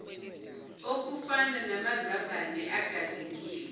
okufana namazambane agazingiwe